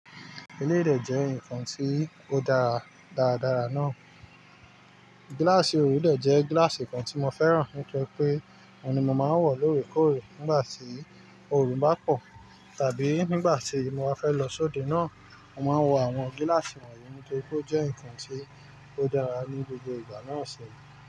Eléyi de jẹ́ ǹkan tí ó dára dáradára náà. Gíláàsì orun dè jẹ́ gíláàsì kan tí mo fẹ́ràn. Nítorí pé òun ni mo máa ń wọ̀ lóòrèkóòrè nígbà tí oòrùn bá pọ̀. Tàbí nígbà tí mo bá fẹ́ lọ sóde náà, mo máa ń wọ àwọn gíláàsì wọ̀nyí. Nítorí pé ó jẹ́ ǹkan tí ó dára ní gbogbo ìgbà náà sẹ̀yìn.